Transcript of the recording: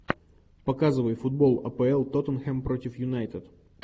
показывай футбол апл тоттенхэм против юнайтед